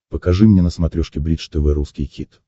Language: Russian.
покажи мне на смотрешке бридж тв русский хит